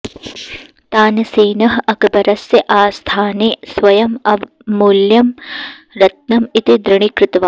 तानसेनः अकबरस्य आस्थाने स्वयम् अमूल्यं रत्नम् इति दृढीकृतवान्